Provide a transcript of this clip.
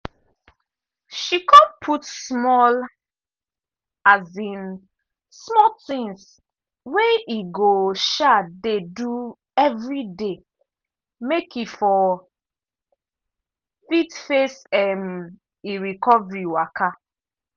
she con put small um small tings wey e go um dey do everyday make e for fit face um e recovery waka.